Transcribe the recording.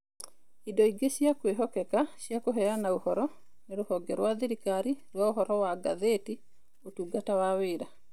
Indo ingĩ cia kwĩhokeka cia kũheana ũhoro nĩ Rũhonge rwa Thirikari rwa Ũhoro wa Ngathĩti, Ũtungata wa Wĩra